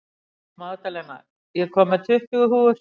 Magdalena, ég kom með tuttugu húfur!